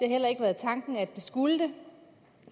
heller ikke været tanken at det skulle det